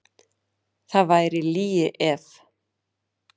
Það væri lygi ef.